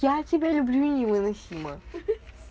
я тебя люблю невыносимо